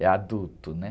é adulto, né?